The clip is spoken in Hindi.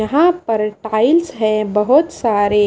यहां पर फाइल्स है बहुत सारे--